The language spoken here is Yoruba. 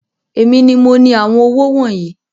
Èmi ní mo ní àwọn owó wọnyii